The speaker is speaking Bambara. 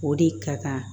O de ka kan